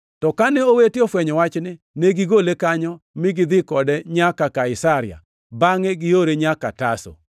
To kane jowete ofwenyo wachni, ne gigole kanyo mi gidhi kode nyaka Kaisaria, bangʼe giore nyaka Tarso.